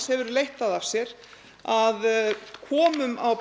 hefur leitt það af sér að komum á